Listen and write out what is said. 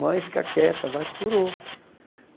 Mãe fica quieta, vai, curou.